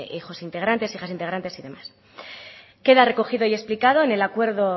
hijos integrantes hijas integrantes y demás queda recogido y explicado en el acuerdo